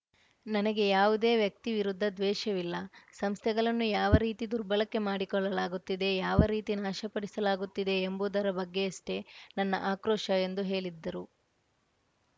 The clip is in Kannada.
ನನಗೆ ಯಾವುದೇ ವ್ಯಕ್ತಿ ವಿರುದ್ಧ ದ್ವೇಷವಿಲ್ಲ ಸಂಸ್ಥೆಗಳನ್ನು ಯಾವ ರೀತಿ ದುರ್ಬಳಕೆ ಮಾಡಿಕೊಳ್ಳಲಾಗುತ್ತಿದೆ ಯಾವ ರೀತಿ ನಾಶಪಡಿಸಲಾಗುತ್ತಿದೆ ಎಂಬುದರ ಬಗ್ಗೆಯಷ್ಟೇ ನನ್ನ ಆಕ್ರೋಶ ಎಂದು ಹೇಳಿದ್ದರು